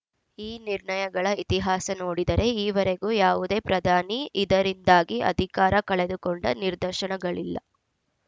ಈ ನಿರ್ಣಯಗಳ ಇತಿಹಾಸ ನೋಡಿದರೆ ಈವರೆಗೂ ಯಾವುದೇ ಪ್ರಧಾನಿ ಇದರಿಂದಾಗಿ ಅಧಿಕಾರ ಕಳೆದುಕೊಂಡ ನಿರ್ದಶನಗಳಿಲ್ಲ